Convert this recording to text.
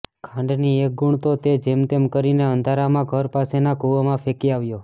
ખાંડની એક ગૂણ તો તે જેમતેમ કરીને અંધારામાં ઘર પાસેના કૂવામાં ફેંકી આવ્યો